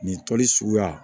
Nin tɔli suguya